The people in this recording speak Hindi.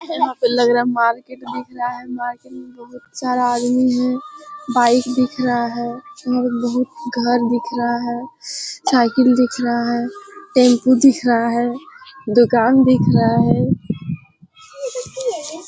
यहाँ पे लग रहा है मार्केट दिख रहा है मार्केट में बहुत सारा आदमी हैं बाइक दिख रहा है और बहुत घर दिख रहा है साइकिल दिख रहा है टैम्पू दिख रहा है दुकान दिख रहा है।